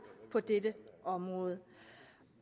på dette område